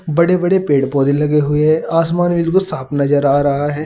बड़े बड़े पेड़ पौधे लगे हुए हैं आसमान भी बिल्कुल साफ नजर आ रहा है।